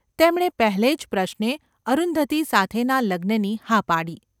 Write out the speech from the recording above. તેમણે પહેલે જ પ્રશ્ને અરુંધતી સાથેનાં લગ્નની હા પાડી.